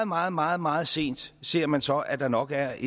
meget meget meget sent ser man så at der nok er